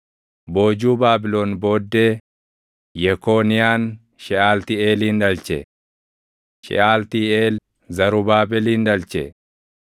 Boojuu Baabilon booddee, Yekooniyaan Sheʼaltiiʼeelin dhalche; Sheʼaltiiʼeel Zarubaabelin dhalche;